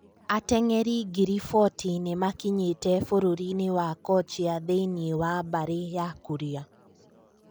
Atenge'ri ngiri fotĩ nĩmakinyetĩ bũrũrinĩ wa kochia thĩinĩ wa mbari ya Kuria